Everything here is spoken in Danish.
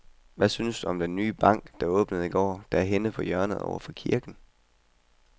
Hvad synes du om den nye bank, der åbnede i går dernede på hjørnet over for kirken?